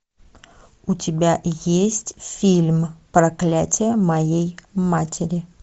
у тебя есть фильм проклятие моей матери